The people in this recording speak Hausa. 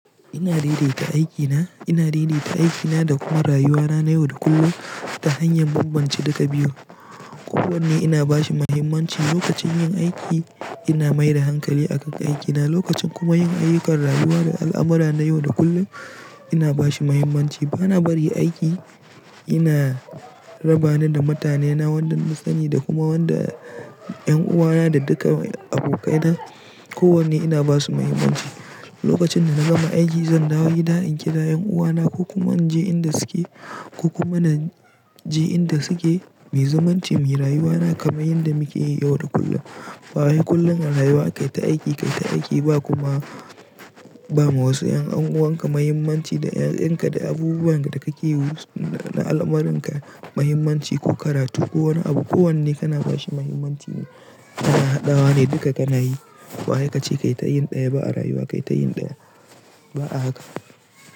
Ina daidaita aikina, ina daidaita aikina da kuma rayuwana na yau da kullum ta hanyar bambance duka biyu. Ko wanne ina bashi muhimmanci lokacin yin aiki ina mai da hankali a kan aikina lokacin kuma yin ayyukan rayuwa da al'amara na yau da kullum ina bashi muhimmanci. Bana bari aiki yana raba ni da mutanena wanda nasani da kuma wanda 'yan uwana da duka abokaina ko wanne ina basu muhimmanci. Lokacin da na gama aiki zan dawo gida in kira ƴan uwana ko kuma in je inda suke ko kuma na je inda suke, muyi zumunci muyi rayuwana kamar yanda muke yi yau da kullum. Ba wai kullum a rayuwa, kai ta aiki kai ta aiki ba kuma ba ma wasu 'yan an'uwanka muhimmanci da ƴaƴanka da abubuwan da kake yi na alamarin ka muhimmanci ko karatu ko wani abu ko wanne kana bashi muhimmanci ne. Hada wa ne duka kana yi. Bawai kace kai ta yin ɗaya ba a rayuwa kai ta yin ɗaya. Ba a haka.